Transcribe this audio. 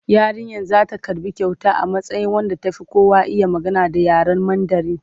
Yarinyar za ta karɓi kyauta a matsayin wadda ta fi kowa iya magana da yaren Mandarin.